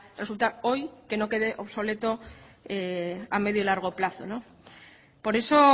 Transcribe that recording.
resultar hoy que no quede obsoleto a medio y largo plazo por eso